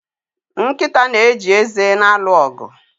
Nkịta na-eji eze na-alụ ọgụ